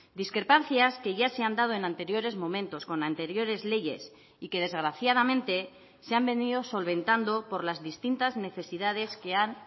discrepancias que ya se han dado en anteriores momentos con anteriores leyes y que desgraciadamente se han venido solventando por las distintas necesidades que han